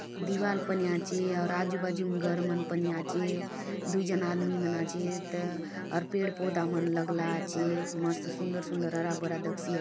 दीवाल पनी आचे आउर आजु बाजू ने घर मन पने आचे दू झन आदमी मन आचेत आउर पेड़ पौधा मन लगला आचे मस्त सुंदर - सुंदर हरा-भरा दखसी आचे ।